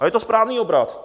A je to správný obrat.